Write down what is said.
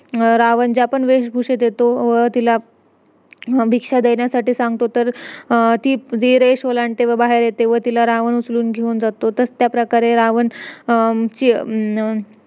आणि एवढं सगळं सांगितलं चार-पाच madam वगैरे आले त्यांचे सर वगैरे एक सर आलेला नेपाळचा होता तो .